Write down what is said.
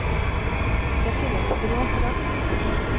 Det finnes et råd for alt.